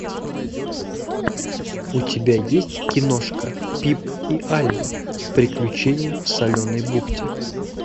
у тебя есть киношка пип и альба приключения в соленой бухте